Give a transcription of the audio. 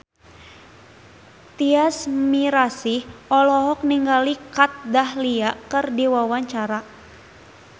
Tyas Mirasih olohok ningali Kat Dahlia keur diwawancara